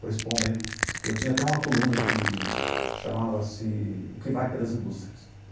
Principalmente, eu tinha até uma coluna que chamava-se O Que Vai Pelas Indústrias.